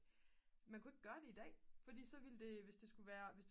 man kunne ikke gøre det i dag fordi så ville det hvis det skulle være